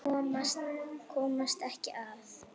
Komast ekki að.